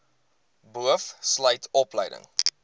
boov sluit opleiding